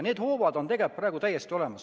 Need hoovad on praegu tegelikult täiesti olemas.